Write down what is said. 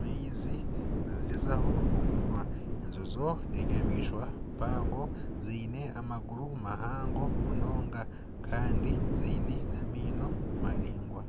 maizi nizigyezaho okunywa. Enjojo n'enyamaishwa mpango. Ziine amaguru mahango munonga kandi ziine n'amaino maraingwa.